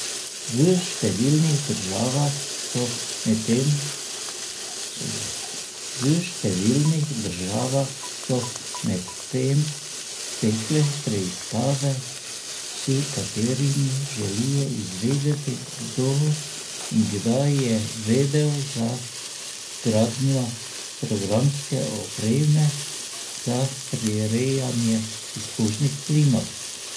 V številnih državah so medtem stekle preiskave, s katerimi želijo izvedeti, kdo in kdaj je vedel za vgradnjo programske opreme za prirejanje izpušnih plinov.